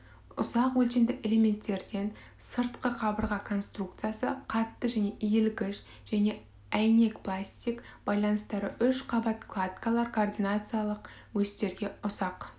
ұсақ өлшемді элементтерден сыртқы қабырға конструкциясы қатты және иілгіш және әйнекпластик байланыстарды үш қабат кладкалар координациялық осьтерге ұсақ